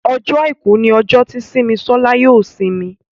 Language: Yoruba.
Ọjọ́ aìkú ní ojo tí Simisola yóò isimi